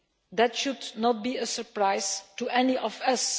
That should not be a surprise to any of us.